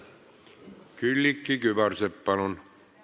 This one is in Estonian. Külliki Kübarsepp, palun!